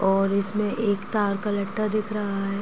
और इसमें एक तार का लठ्ठा दिख रहा है।